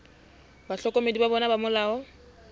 bahlokomedi ba bona ba molao